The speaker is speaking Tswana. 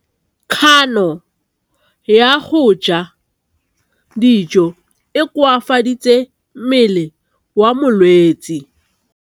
Kganô ya go ja dijo e koafaditse mmele wa molwetse.